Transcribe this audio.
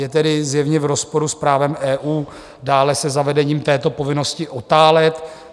Je tedy zjevně v rozporu s právem EU, dále se zavedením této povinnosti otálet.